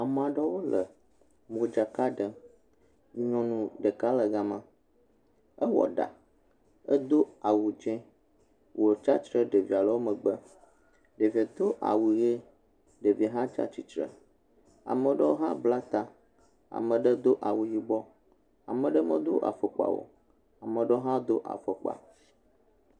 Ame amewo le le modzaka ɖem. Nyɔnu ɖeka le gama, ewɔ ɖa, edo awu tse, wo tsia tsitre ɖe ɖevia ɖe wo megbe, ɖevia do awu ʋi. devia hã tsia tsitre. Ame ɖewo hã blata, ame ɖewo ho awu yibɔ. Ame ɖewo me do afɔkpa o, ame ɖewo hã do afɔkpa.